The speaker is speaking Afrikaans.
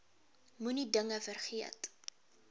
moenie dinge vergeet